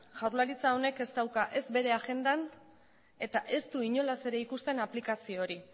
jaurlaritza honek ez dauka ez bere agendan eta ez du inolaz ere ez ikusten aplikazio hori